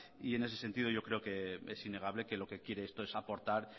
en ese sentido yo creo que es innegable que lo que quiere esto es aportar